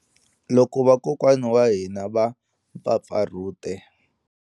Loko vakokwana wa hina va mpfapfarhute.